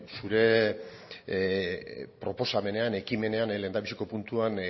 zure proposamenean ekimenean lehendabiziko puntuan